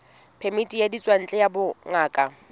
phemiti ya ditswantle ya bongaka